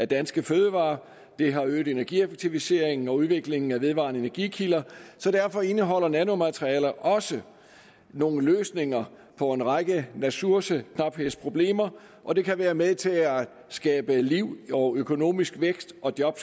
danske fødevarer det har øget energieffektiviseringen og udviklingen af vedvarende energikilder så derfor indeholder nanomaterialer også nogle løsninger på en række ressourceknaphedsproblemer og det kan være med til at skabe liv og økonomisk vækst og job